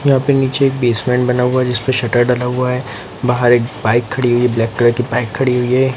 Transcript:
यहाँ पे नीचे एक बेसमेंट बना हुआ है जिसपे शटर डाला हुआ है बाहर एक बाइक खड़ी हुई है ब्लैक कलर की बाइक खड़ी हुई है।